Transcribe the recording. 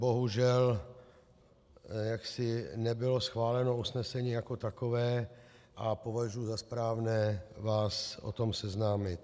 Bohužel jaksi nebylo schváleno usnesení jako takové a považuji za správné vás s tím seznámit.